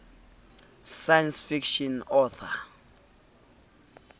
science fiction author